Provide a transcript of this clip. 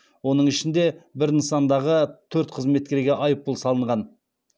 оның ішінде бір нысандағы төрт қызметкерге айыппұл салынған